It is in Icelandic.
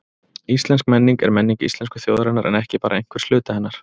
Íslensk menning er menning íslensku þjóðarinnar en ekki bara einhvers hluta hennar.